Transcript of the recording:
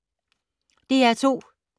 DR2